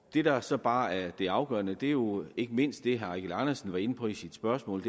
det der så bare er det afgørende er jo ikke mindst det herre eigil andersen var inde på i sit spørgsmål